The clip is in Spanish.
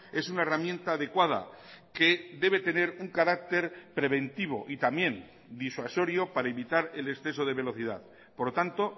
es una herramienta adecuada que debe tener un carácter preventivo y también disuasorio para evitar el exceso de velocidad por lo tanto